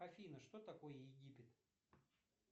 афина что такое египет